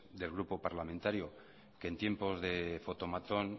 del grupo parlamentario que en tiempo de fotomatón